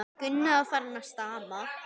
Gunni var farinn að stama.